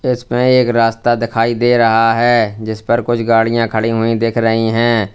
इसमें एक रास्ता दिखाई दे रहा है जिस पर कुछ गाड़ियाँ खड़ी हुई दिख रही हैं।